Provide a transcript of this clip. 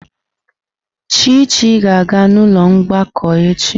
Chichi ga-aga n'ụlọ mgbakọ echi.